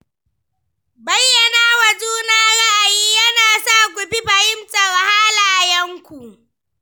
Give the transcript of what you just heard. Bayyana wa juna ra’ayi yana sa ku fi fahimtar halayenku.